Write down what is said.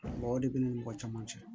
O de b'i ni mɔgɔ caman cɛ